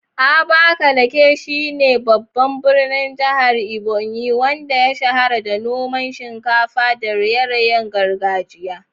Abakaliki shi ne babban birnin jihar Ebonyi, wanda ya shahara da noman shinkafa da raye-rayen gargajiya.